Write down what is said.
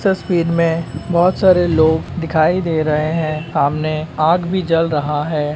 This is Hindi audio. तस्वीर मे बहुत सारे लोग दिखाई दे रहे हैं सामने आग भी जल रहा है।